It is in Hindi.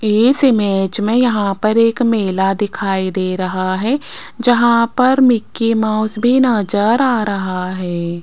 इस इमेज में यहां पर एक मेला दिखाई दे रहा है जहां पर मिकी माउस भी नज़र आ रहा है।